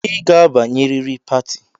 I ga-abanye riri pati!